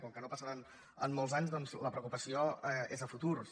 com que no passarà en molts anys doncs la preocupació és a futurs